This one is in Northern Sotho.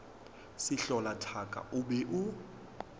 sehlola thaka o be o